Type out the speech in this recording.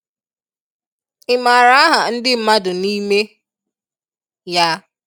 Imara aha ndi mmadụ n'ime ya?